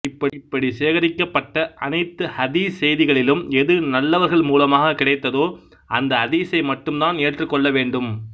இப்படி சேகரிக்கபட்ட அனைத்து ஹதீஸ்செய்திகளிலும் எது நல்லவர்கள் மூலமாக கிடைத்ததோ அந்த ஹதிஸை மட்டும் தான் ஏற்றுக்கொள்ள வேண்டும்